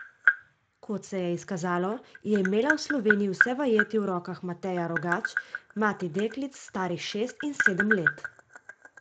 Kot se je izkazalo, je imela v Sloveniji vse vajeti v rokah Mateja Rogač, mati deklic, starih šest in sedem let.